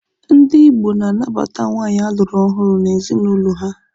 Ndi Igbo na-anabata nwaanyị a lụrụ ọhụrụ n'ezinụlọ ha.